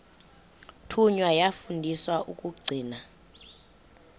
thunywa yafundiswa ukugcina